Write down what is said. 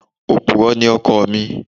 Òpùrọ́ ni ọkọ mi.